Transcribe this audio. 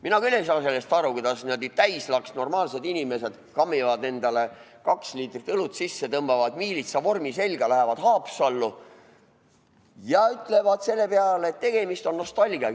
Mina küll ei saa sellest aru, kuidas n-ö täislaksnormaalsed inimesed kaanivad endale kaks liitrit õlut sisse, tõmbavad miilitsavormi selga, lähevad Haapsallu ja ütlevad selle peale, et tegemist on nostalgiaga.